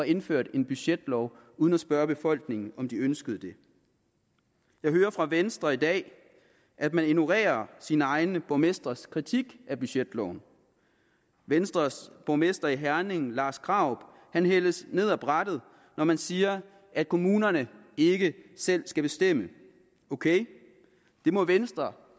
indført en budgetlov uden at spørge befolkningen om de ønsker det jeg hører fra venstre i dag at man ignorerer sine egne borgmestres kritik af budgetloven venstres borgmester i herning lars krarup hældes ned ad brættet når man siger at kommunerne ikke selv skal bestemme ok det må venstre